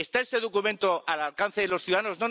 ¿Está ese documento al alcance de los ciudadanos?